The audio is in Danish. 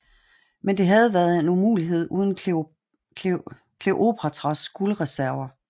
Men det havde været en umulighed uden Kleopatras guldreserver